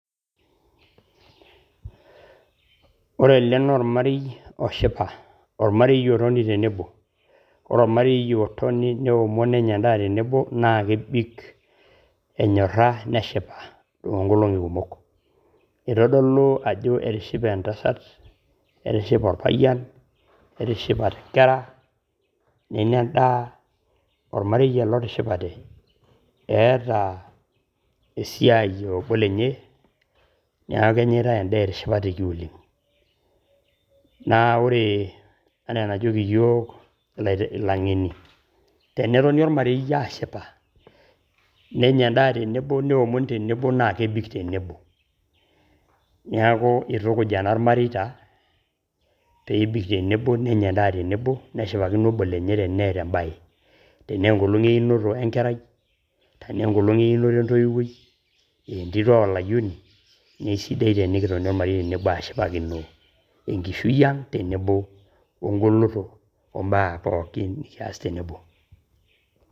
Ore ele na ormarei oshipa. Ormarei otoni tenebo. Ore ormarei otoni, neomon nenya endaa tenebo, na kebik enyorra neshipa toonkolong'i kumok. Itodolu ajo etishipe entasat, netishipe orpayian, netishipate nkera, nenya endaa, ormarei ele otishipate. Eeta esiai e obo lenye, neeku kenyitai endaa etishipateki oleng'. Na ore enaa enajoki yiok ilang'eni, tenetoni ormarei ashipa, nenya endaa tenebo neomon tenebo, na kebik tenebo. Neeku itukuj enaa irmareita, pebik tenebo, nenya endaa tenebo, neshipakino obo lenye teneeta ebae. Tenaa enkolong' einoto wenkerai, tenaa enkolong' einoto entoiwuoi, entito o layioni, ne sidai tenikitoni ashipakino enkishui ang',tenebo ogoloto ombaa pookin nikias tenebo.